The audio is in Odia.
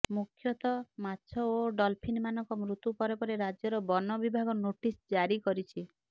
ମୁଖ୍ୟତଃ ମାଛ ଓ ଡଲଫିନ୍ ମାନଙ୍କ ମୃତ୍ୟୁ ପରେ ପରେ ରାଜ୍ୟର ବନ ବିଭାଗ ନୋଟିସ୍ ଜାରି କରିଛି